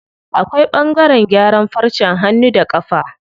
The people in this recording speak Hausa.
Akwai ɓangaren gyaran farcen hannu da ƙafa.